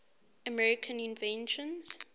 american inventions